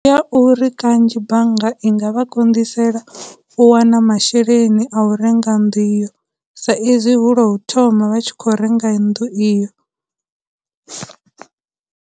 Ya uri kanzhi bannga i nga vha konḓisela u wana masheleni a u renga nnḓu iyo, sa izwi hu lwa u thoma vha tshi khou renga nnḓu iyo.